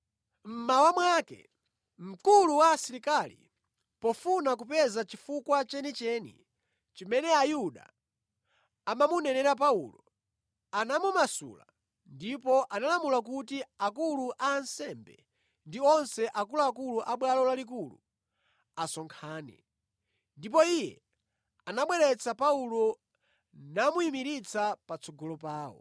Mmawa mwake, mkulu wa asilikali pofuna kupeza chifukwa chenicheni chimene Ayuda amamunenera Paulo, anamumasula ndipo analamula kuti akulu a ansembe ndi onse akuluakulu a Bwalo Lalikulu asonkhane. Ndipo iye anabweretsa Paulo namuyimiritsa patsogolo pawo.